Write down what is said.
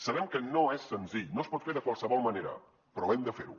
sabem que no és senzill no es pot fer de qualsevol manera però hem de fer ho